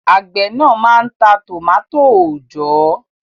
Àgbẹ̀ náà máa ń ta tòmátò òòjọ́